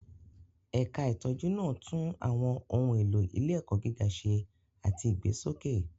Ẹ̀ka ìtọ́jú náà tún àwọn ohun èlò ilé-ẹ̀kọ́ gíga ṣe àti ìgbésókè.